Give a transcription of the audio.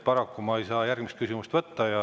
Paraku ma ei saa järgmist küsimust võtta.